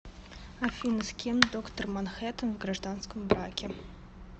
афина с кем доктор манхэттан в гражданском браке